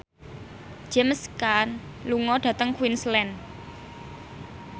James Caan lunga dhateng Queensland